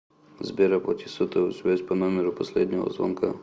сбер оплати сотовую связь по номеру последнего звонка